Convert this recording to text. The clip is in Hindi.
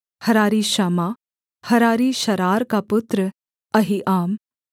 हरारी शम्मा हरारी शारार का पुत्र अहीआम